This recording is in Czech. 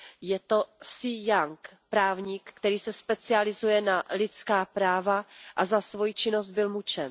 Je to Xie Yang, právník, který se specializuje na lidská práva a za svoji činnost byl mučen.